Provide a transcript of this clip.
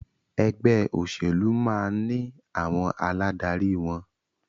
Ẹgbẹ́ òṣèlú máà ní àwọn aládarí wọn.